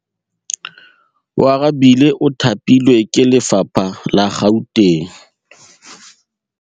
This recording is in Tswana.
Oarabile o thapilwe ke lephata la Gauteng.